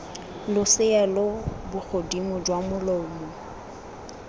losea lo bogodimo jwa molomo